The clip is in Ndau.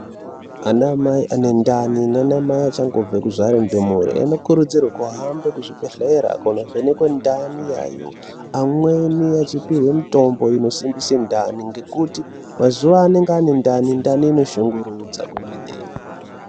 Anamai anendani nanamai achangobva kuzvara ndumure anokurudzirwe kuhamba kuzvibhehlera kunovhenekwe ndani yayo. Amweni achipihwe mitombo inosimbise ndani ngekuti mazuva anenge anendani, ndani inoshungurudza kwemene.